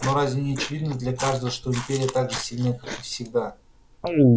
но разве не очевидно для каждого что империя так же сильны как и всегда